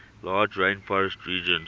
large rainforest region